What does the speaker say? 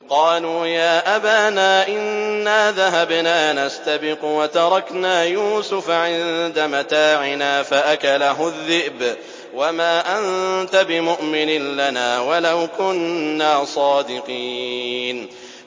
قَالُوا يَا أَبَانَا إِنَّا ذَهَبْنَا نَسْتَبِقُ وَتَرَكْنَا يُوسُفَ عِندَ مَتَاعِنَا فَأَكَلَهُ الذِّئْبُ ۖ وَمَا أَنتَ بِمُؤْمِنٍ لَّنَا وَلَوْ كُنَّا صَادِقِينَ